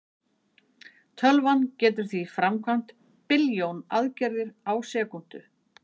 tölvan getur því framkvæmt billjón aðgerðir á sekúndu